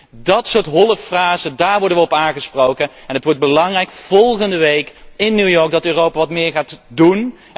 Op dat soort holle frasen worden wij aangesproken en het wordt belangrijk, volgende week in New York, dat Europa wat meer gaat doen.